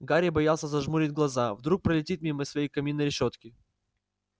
гарри боялся зажмурить глаза вдруг пролетит мимо своей каминной решётки